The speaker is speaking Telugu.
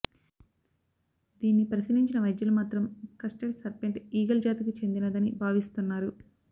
దీన్ని పరిశీలించిన వైద్యులు మాత్రం క్రెస్టెడ్ సర్పెంట్ ఈగల్ జాతికి చెందినదని భావిస్తున్నారు